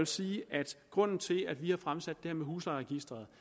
sige at grunden til at vi har fremsat det her om huslejeregisteret